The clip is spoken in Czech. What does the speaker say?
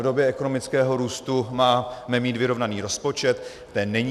V době ekonomického růstu máme mít vyrovnaný rozpočet, ten není.